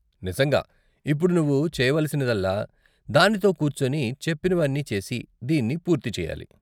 నిజంగా! ఇప్పుడు నువ్వు చెయ్యవలసినదల్లా దానితో కూర్చొని చెప్పినవి అన్నీ చేసి దీన్ని పూర్తి చేయాలి.